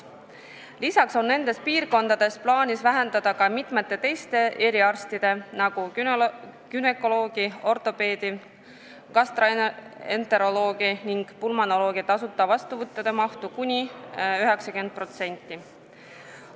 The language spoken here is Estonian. Lisaks on nendes piirkondades plaanis vähendada ka mitmete teiste eriarstide, nagu günekoloogi, ortopeedi, gastroenteroloogi ning pulmonoloogi tasuta vastuvõttude mahtu kuni 90%.